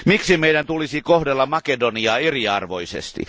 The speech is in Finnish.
Miksi meidän tulisi kohdella Makedoniaa eriarvoisesti?